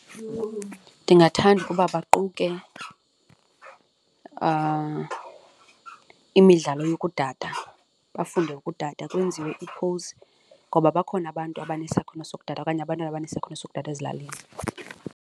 Ndingathanda ukuba baquke imidlalo yokudada, bafunde udada kwenziwe ngoba bakhona abantu abanesakhono sokudada okanye abantwana abanesakhono sokudada ezilalini.